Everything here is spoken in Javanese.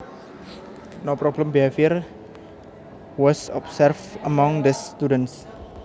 No problem behavior was observed among these students